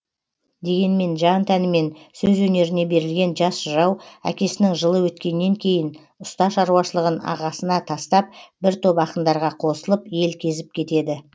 дегенмен жан тәнімен сөз өнеріне берілген жас жырау әкесінің жылы өткеннен кейін ұста шаруашылығын ағасына тастап бір топ ақындарға қосылып ел кезіп кетеді